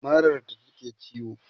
marar ta ke ciwo